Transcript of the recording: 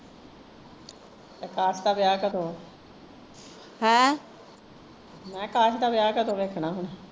ਅਕਾਸ਼ ਦਾ ਵਿਆਹ ਕਦੋਂ ਐ ਮੈਂ ਕਿਹਾ ਅਕਾਸ਼ ਦਾ ਵਿਆਹ ਕਦੋਂ ਵੇਖਣਾ ਹੁਣ?